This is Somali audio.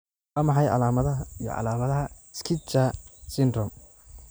Waa maxay calaamadaha iyo calaamadaha Schnitzler syndrome?